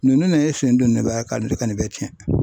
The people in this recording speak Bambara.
Ninnu ne ye sen don nin b'a ka nin bɛɛ cɛn.